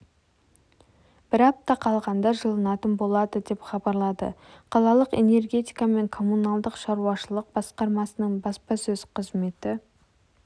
бір апта қалғанда жылынатын болады деп хабарлады қалалық энергетика және коммуналдық шаруашылық басқармасының баспасөз қызметі